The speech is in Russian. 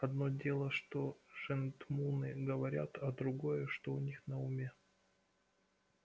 одно дело что жентмуны говорят а другое что у них на уме